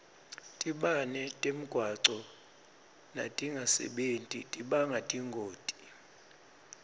tibane temgwaco natingasebenti tibanga tingoti